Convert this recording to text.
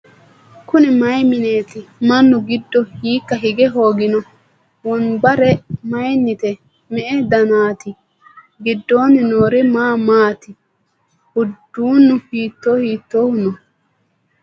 Kunni mayi mineetti? Mannu giddo hiikka hige hooginno? Wonbare mayiinnite? Me'e danaatti? Gidoonni noori maa maatti? Uduunnu hitto hiittohu noo?